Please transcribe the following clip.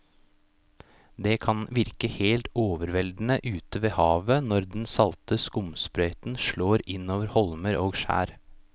Det kan virke helt overveldende ute ved havet når den salte skumsprøyten slår innover holmer og skjær.